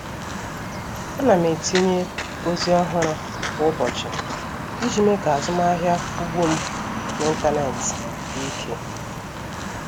A na m etinye ozi ọhụrụ kwa ụbọchị iji mee ka azụmahịa ugbo m n'ịntanetị dị ike.